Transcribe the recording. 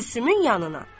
Gülsümün yanına.